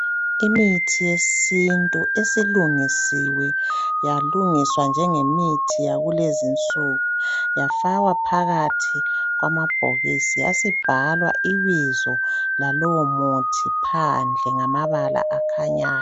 Imithi yesintu esilungisiwe yalungiswa njenge mithi yakulezi nsuku yafakwa phakathi kwamabhokisi yasibhalwa ibizo lalowo muthi phandle ngamabala akhanyayo.